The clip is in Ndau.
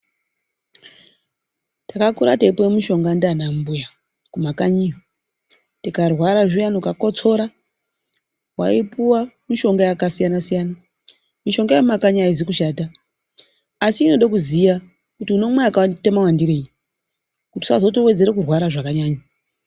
Takakura teipuwa mishonga ndiana mbuya kumakanyiyo. Tikarwara zviyani ukakotsora waipuwa mishonga yakasiyana siyana. Mishonga yemumakanyi aizi kushata, asi inoda kuziya kuti unomwa wakaita mawandirei kuti usazotowedzera kurwara zvakanyanya.